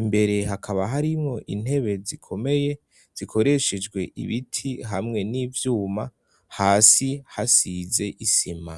imbere hakaba harimwo intebe zikomeye zikoreshejwe ibiti hamwe n'ivyuma hasi hasize isima.